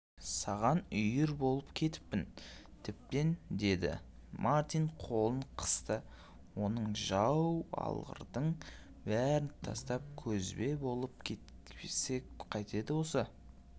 саған үйір болып кетіппін тіптен дедімартин қолын қысты оныңжау алғырдың бәрін тастап кезбе болып кетсек қайтеді осы